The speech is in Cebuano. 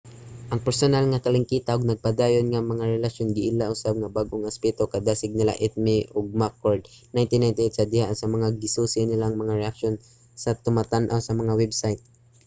ang personal nga kalangkita ug nagpadayon nga mga relasyon giila usab nga bag-ong aspeto sa kadasig nila eighmey ug mccord 1998 sa diha nga gisusi nila ang mga reaksyon sa tumatan-aw sa mga website